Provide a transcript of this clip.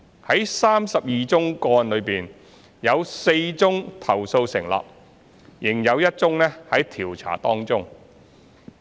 在32宗個案中，有4宗投訴成立，仍有1宗在調查當中。